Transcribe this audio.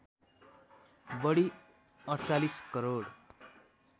बढी ४८ करोड